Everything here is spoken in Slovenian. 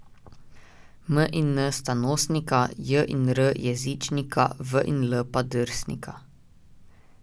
M in n sta nosnika, j in r jezičnika, v in l pa drsnika.